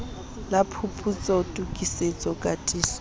la phuputso tokisetso katiso le